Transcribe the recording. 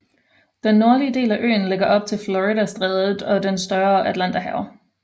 Den nordlige del af øen ligger op til Floridastrædet og det større Atlanterhav